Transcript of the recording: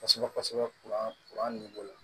Kosɛbɛ kosɛbɛ